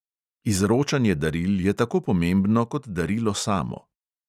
Izročanje daril je tako pomembno kot darilo samo.